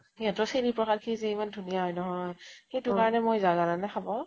সিহঁতৰ চেনি প্ৰসাদ খিনি যে ইমান ধুনীয়া হয় নহয় । সেইতো কাৰণে মই যাওঁ জানানে খাব